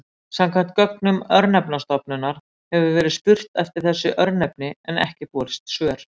Samkvæmt gögnum Örnefnastofnunar hefur verið spurt eftir þessu örnefni en ekki borist svör.